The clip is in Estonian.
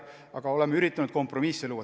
Aga oleme üritanud kompromisse luua.